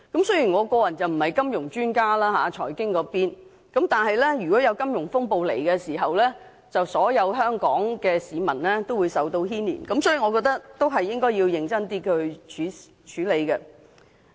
雖然我個人並非金融財經專家，但如果金融風暴到來，所有香港市民均會受到牽連，所以我認為必須認真地處理《條例草案》。